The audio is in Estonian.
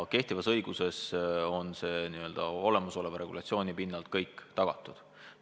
Kehtivas õiguses on see kõik juba tagatud.